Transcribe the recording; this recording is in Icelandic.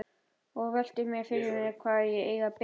Og velti fyrir mér hvar eigi að byrja.